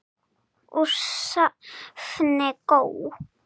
Úr safni GÓ.